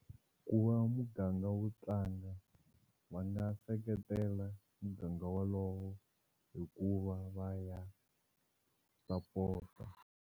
Ku va muganga wu tlanga va nga seketela muganga wolowo hi ku va va ya sapota.